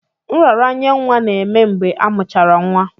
Nraranye nwa na-eme mgbe amuchara nwa.